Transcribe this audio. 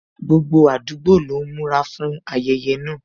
Gbogbo àdúgbò lọ ń múra fún ayẹyẹ náà